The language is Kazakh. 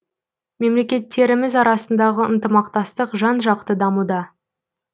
мемлекеттеріміз арасындағы ынтымақтастық жан жақты дамуда